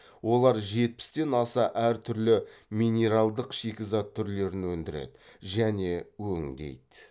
олар жетпістен аса әр түрлі минералдық шикізат түрлерін өндіреді және өңдейді